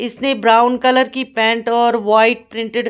इसने brown colour की pant और वाइट प्रिंटेड --